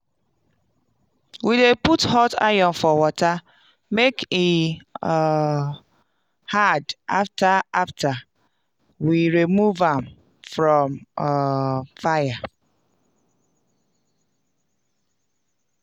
we dey put hot iron for water make e um hard after after we rmove am from um fire.